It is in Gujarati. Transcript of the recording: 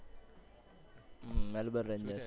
Melbourne Renegades